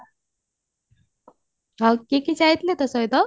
ଆଉ କିଏ କିଏ ଯାଇଥିଲେ ତୋ ସହିତ